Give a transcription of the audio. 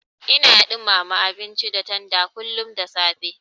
Ina ɗumama abinci da tanda kullun da safe.